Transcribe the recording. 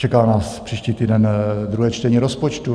Čeká nás příští týden druhé čtení rozpočtu.